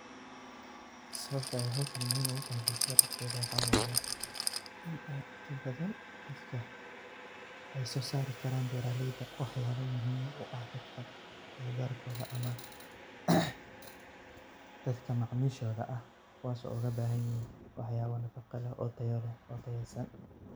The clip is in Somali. Sawabta ee howshaan muhiim ogutahay bulshada dhexdeda waxa waye inii dadka ey sosari karaan beraleyda waxyabo muhiim uah dadka agagarko ama dadka macamishoda kowaso ogabahanyihin waxyabo tayo leeh oo nafaqeysan.